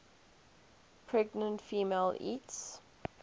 pregnant female eats